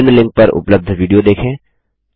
निम्न लिंक पर उपलब्ध विडियो देखें